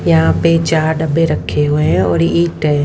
यहां पे चार डब्बे रखे हुए हैं और एक टै--